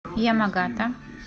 ямагата